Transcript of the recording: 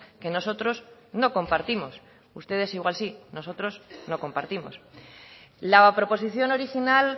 que nosotros no compartimos ustedes igual sí nosotros no compartimos la proposición original